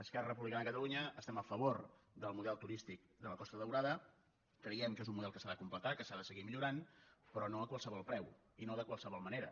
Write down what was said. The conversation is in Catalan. esquerra republi·cana de catalunya estem a favor del model turístic de la costa daurada creiem que és un model que s’ha de completar que s’ha de seguir millorant però no a qualsevol preu i no de qualsevol manera